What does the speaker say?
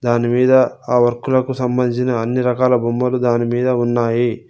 దానిమీద ఆ వర్కులకు సంబంధించిన అన్ని రకాల బొమ్మలు దానిమీద ఉన్నాయి.